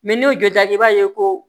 n'i y'o jɔda i b'a ye ko